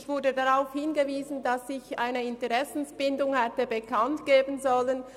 Ich bin darauf hingewiesen worden, dass ich eine Interessenbindung hätte bekanntgeben sollen.